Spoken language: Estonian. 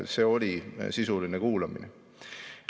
See oli sisuline kuulamine.